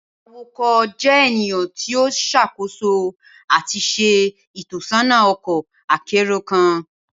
Awakọ jẹ eniyan ti o ṣakoso ati ṣe itọsọna ọkọ akero kan